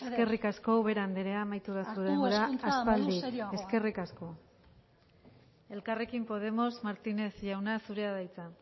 eskerrik asko ubera andrea amaitu da zure denbora aspaldi hartu hezkuntza modu serioagoan eskerrik asko elkarrekin podemos martínez jauna zurea da hitza